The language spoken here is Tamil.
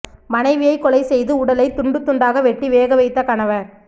மனைவியை கொலை செய்து உடலை துண்டு துண்டாக வெட்டி வேக வைத்த கணவர்